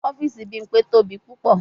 Ọfiisi Bimpe tobi pupọ